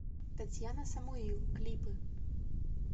татьяна самуил клипы